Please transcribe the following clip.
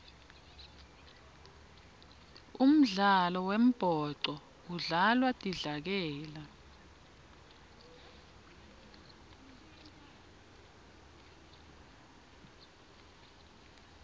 umdlalo wembhoco udlalwa tidlakela